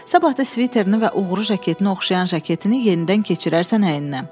Sabah da sviterini və uğrucu jaketinə oxşayan jaketini yenidən keçirərsən əyninə.